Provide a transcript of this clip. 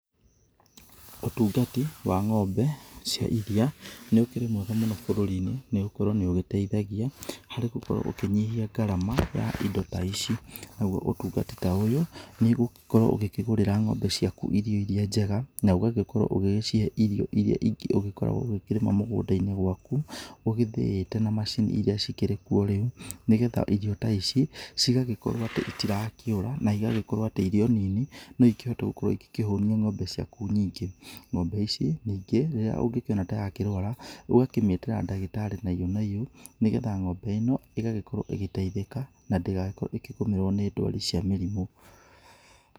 Ũtungati wa ng'ombe cia iria nĩ ũkĩrĩ mwega mũno bũrũri-inĩ, nĩ gũkorwo nĩ ũgĩteithagia harĩ gũkorwo ũkĩnyihia gharama ya indo ta ici, naguo ũtungati ta ũyũ, nĩ ũgũgĩkorwo ũgĩkĩgũrĩra ng'ombe ciaku irio iria njega, na ũgagĩkorwo ũgĩgĩcihe irio iria ingĩ ũgĩkoragwo ũgĩkĩrĩma mũgũnda-inĩ gwaku, ũgĩthĩĩte na macini iria cikĩrĩ kuo rĩu, nĩgetha irio ta ici, cigagĩkorwo atĩ itirakĩũra na igagĩkorwo atĩ irio nini, no ikĩhote gũkorwo igĩkĩhũnia ng'ombe ciaku nyingĩ. Ng'ombe ici ningĩ rĩrĩa ũngĩkĩona ta yakĩrwara, ũgakĩmĩtĩra ndagĩtarĩ na iyo na iyo, nĩ getha ng'ombe ĩno ĩgagĩkorwo ĩgĩteithĩka, na ndĩgagĩkorwo ĩkĩgũmĩrwo nĩ ndwari cia mĩrimũ.